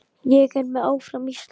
Ég er með, áfram Ísland.